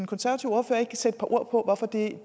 konservative ordfører ikke sætte et par ord på hvorfor det